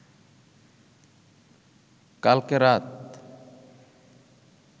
কালকে রাত